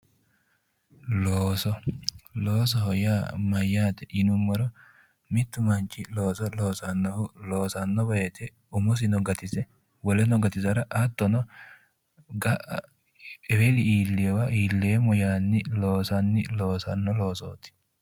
Looso loosoho yaa mayyaate yinummoro mittu manchi looso loosanno woyte umosino gatise woleno gatisara hattono ga'a eweli iilleyowa iilleemmo yaanni loosanni loosanno loosooti